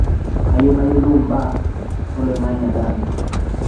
kayieu nayolou mbaa oloing'ang'e e taata